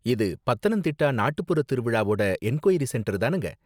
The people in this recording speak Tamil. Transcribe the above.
இது பத்தனந்திட்டா நாட்டுப்புற திருவிழாவோட என்குயரி சென்டர் தானங்க?